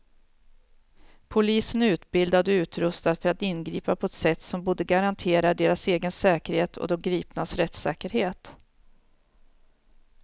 Polisen är utbildad och utrustad för att ingripa på ett sätt som både garanterar deras egen säkerhet och de gripnas rättssäkerhet.